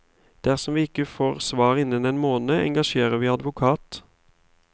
Dersom vi ikke får svar innen én måned, engasjerer vi advokat.